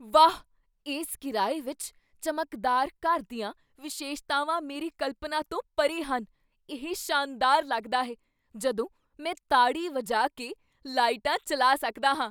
ਵਾਹ, ਇਸ ਕਿਰਾਏ ਵਿੱਚ ਚਮਕਦਾਰ ਘਰ ਦੀਆਂ ਵਿਸ਼ੇਸ਼ਤਾਵਾਂ ਮੇਰੀ ਕਲਪਨਾ ਤੋਂ ਪਰੇ ਹਨ। ਇਹ ਸ਼ਾਨਦਾਰ ਲੱਗਦਾ ਹੈ ਜਦੋਂ ਮੈਂ ਤਾੜੀ ਵਜਾ ਕੇ ਲਾਈਟਾਂ ਚੱਲਾ ਸਕਦਾ ਹਾਂ!